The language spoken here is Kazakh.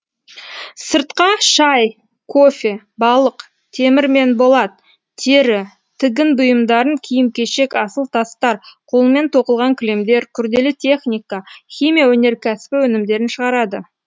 сыртқа шай кофе балық темір мен болат тері тігін бұйымдарын киім кешек асыл тастар қолмен тоқылған кілемдер күрделі техника химия өнеркәсібі өнімдерін шығарады